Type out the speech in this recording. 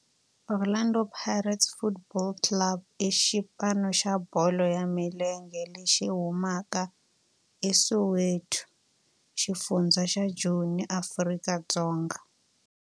Orlando Pirates Football Club i xipano xa bolo ya milenge lexi humaka eSoweto, xifundzha xa Joni, Afrika-Dzonga.